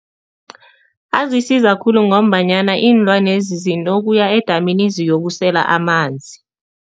Azisiza khulu ngombanyana iinlwanezi zinokuya edamini ziyokusela amanzi.